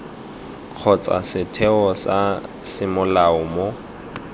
kgotsa setheo sa semolao mo